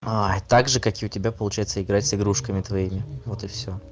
ой также как и у тебя получается играть с игрушками твоими вот и всё